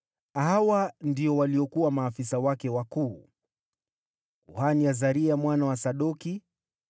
Hawa ndio waliokuwa maafisa wake wakuu: Kuhani: Azaria mwana wa Sadoki;